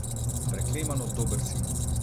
Preklemano dober si.